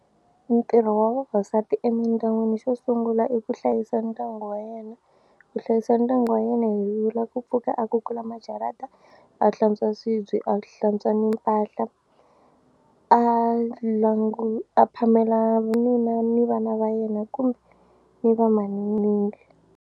Ntirho wa vavasati emindyangwini xo sungula i ku hlayisa ndyangu wa yena. Ku hlayisa ndyangu wa yena hi vula ku pfuka a kukula majarata a hlantswa swibye a hlantswa ni mpahla a a phamela nuna ni vana va yena kumbe ni va .